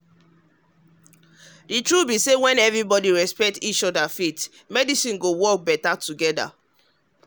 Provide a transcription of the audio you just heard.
the truth be say when everybody respect everybody respect each other faith and medicine go work better together.